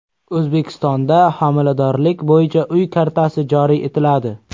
O‘zbekistonda homiladorlik bo‘yicha uy kartasi joriy etiladi.